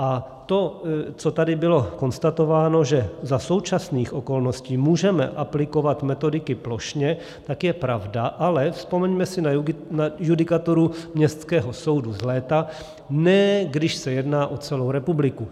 A to, co tady bylo konstatováno, že za současných okolností můžeme aplikovat metodiky plošně, tak je pravda, ale vzpomeňme si na judikaturu městského soudu z léta - ne, když se jedná o celou republiku.